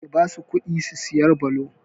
Ki basu kuɗi su saya blo!